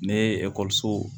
Ne ye ekɔlisow